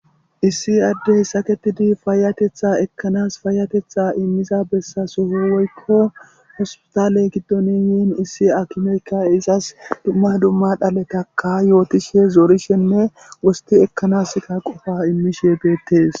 issi addey saketidi faayatetha ekkanas faayatetha immiza bessasoho woykko hospitaley giddoni yiin issi akimeykka izas dumma dumma dhaletaka yootishe zoorishenne wosti ekkanaska qofa immishe beettes